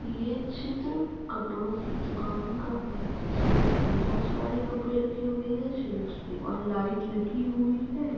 हे चित्र कपडो का दुकान का है। जिसमे बहोत सारे कपड़े रखे हुए है सेल्स मे और लाइट लगी हुई है।